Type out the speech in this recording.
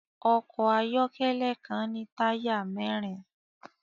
Ọkọ̀ ayọ́kẹ́lẹ́ kan ní táyà mẹ́rin